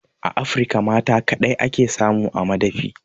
A Afirka mata kaɗai ake samu a madafi